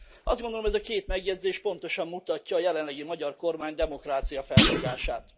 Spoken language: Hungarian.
Azt gondolom, ez a két megjegyzés pontosan mutatja a jelenlegi magyar kormány demokráciafelfogását.